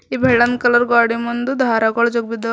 ಈ ಬೆಳ್ಳನ್ ಕಲರ್ ಗ್ವಾಡಿ ಮುಂದು ದಾರಗಳ್ ಜೋತ್ ಬಿದ್ದವ ಮತ್--